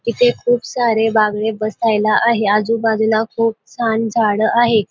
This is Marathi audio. इथे खूप सारे बाकडे बसायला आहे आजूबाजूला खूप छान झाड आहे.